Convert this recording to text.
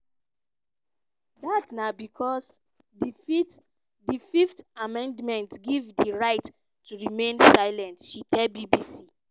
"dat na becos di fifth amendment give you di right to remain silent" she tell bbc.